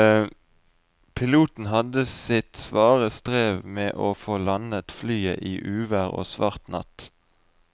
Piloten hadde sitt svare strev med å få landet flyet i uvær og svart natt.